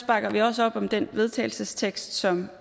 bakker vi også op om den vedtagelsestekst som